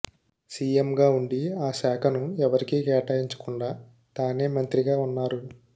సీఎంగా ఉండి ఆ శాఖను ఎవరికీ కేటాయించకుండా తానే మంత్రిగా ఉన్నారు